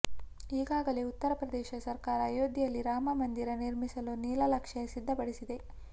ಈಗಾಗಲೇ ಉತ್ತರ ಪ್ರದೇಶ ಸರ್ಕಾರ ಅಯೋಧ್ಯೆಯಲ್ಲಿ ರಾಮ ಮಂದಿರ ನಿರ್ಮಿಸಲು ನೀಲನಕ್ಷೆ ಸಿದ್ಧಪಡಿಸಿದೆ